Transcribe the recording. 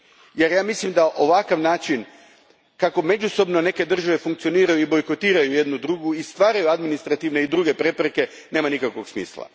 jer mislim da ovakav način, kako međusobno neke države funkcioniraju i bojkotiraju jedna drugu i stvaraju administrativne i druge prepreke, nema nikakvog smisla.